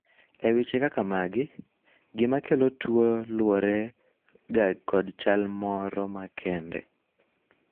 e weche kaka magi, gima kelo tuo luwore ga kod chal moro makende